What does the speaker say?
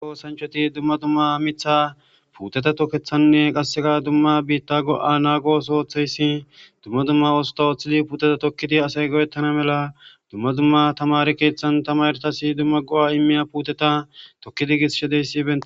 Osanchoti dumma dumma mitha puuteta tokethanne qasseka dumma biitta go7a naagos ooththeyssi dumma dumma oosota ooththi puuteta tokkidi asay go7ettana mela dumma dumma tamari keeththan tamaretasi dumma go7a immiya puuteta tokkidi gishedeysiben.